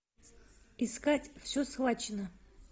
искать все схвачено